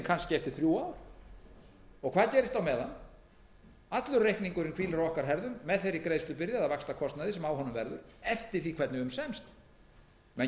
kannski eftir þrjú ár hvað gerist á meðan allur reikningurinn hvílir á okkar herðum með þeirri greiðslubyrði eða þeim vaxtakostnaði sem á honum verður eftir því hvernig um semst menn